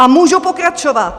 A můžu pokračovat.